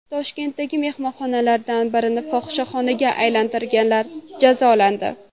Toshkentdagi mehmonxonalardan birini fohishaxonaga aylantirganlar jazolandi.